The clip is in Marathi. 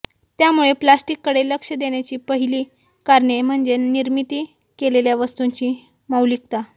त्यामुळे प्लास्टिककडे लक्ष देण्याची पहिली कारणे म्हणजे निर्मिती केलेल्या वस्तूंची मौलिकता